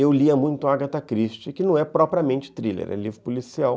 Eu lia muito Agatha Christie, que não é propriamente thriller, é livro policial.